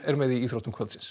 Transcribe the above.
með í íþróttum